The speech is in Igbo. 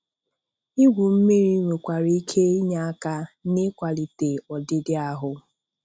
Igwu mmiri nwekwara ike inye aka n'ịkwalite ọdịdị ahụ.